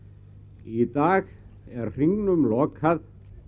í dag er hringnum lokað